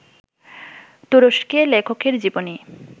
তুরস্কে লেখকের জীবনই